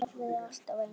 Kerfið er alltaf eins.